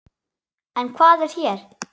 En hvað er hér?